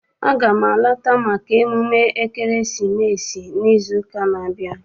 Aga m alata maka emume ekeresimesi n'izu ụka n'abia.